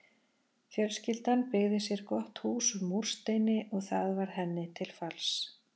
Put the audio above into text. Fjölskyldan byggði sér gott hús úr múrsteini og það varð henni til falls.